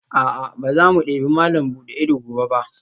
A'a, ba za mu debi malam buɗe ido gobe ba